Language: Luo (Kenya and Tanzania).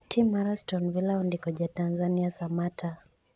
tim mar Aton Villa ondiko Ja Tanzania Samatta